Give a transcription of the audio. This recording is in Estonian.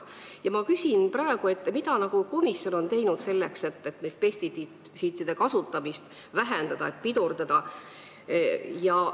Mida komisjon on teinud selleks, et pestitsiidide kasutamist vähendada, pidurdada?